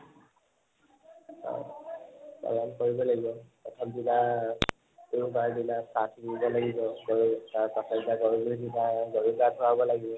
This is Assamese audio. হয় পালন কৰিব লাগিব লাগিব